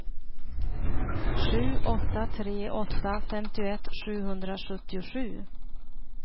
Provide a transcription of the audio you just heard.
sju åtta tre åtta femtioett sjuhundrasjuttiosju